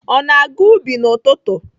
Ọ na-aga ubi n'ụtụtụ?